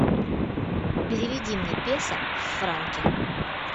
переведи мне песо в франки